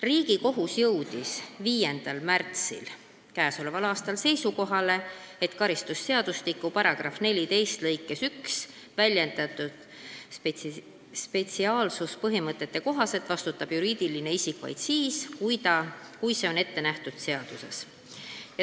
Riigikohus jõudis 5. märtsil k.a seisukohale, et karistusseadustiku § 14 lõikes 1 väljendatud spetsiaalsuspõhimõtte kohaselt vastutab juriidiline isik vaid siis, kui see on ette nähtud seaduses.